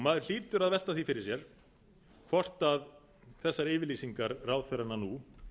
maður hlýtur að velta því fyrir sér hvort þessar yfirlýsingar ráðherranna nú